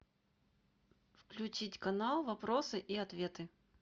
включить канал вопросы и ответы